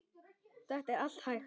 Þetta er allt hægt.